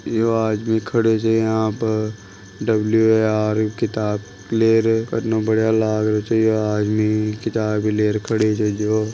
यो आदमी खड़े छे यहां पर डब्लू ए आर की किताब ले रहे कितनों बढ़िया लाग रहे छे यो आदमी किताब भी लेर खड़े छे जो।